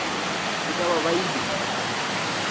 e ka ba e bile